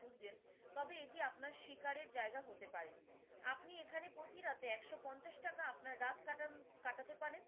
খুঁজছেন তবে এটি আপনার শিকারের জায়গা হতে পারে, আপনি এখানে প্রতি রাতে একশো পঞ্চাশ টাকা আপনার রাত কাটাতে পারেন।